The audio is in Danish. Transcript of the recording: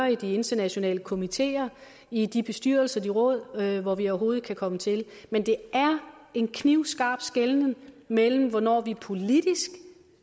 i de internationale komiteer i de bestyrelser de råd hvor vi overhovedet kan komme til det men det er en knivskarp skelnen mellem hvornår vi politisk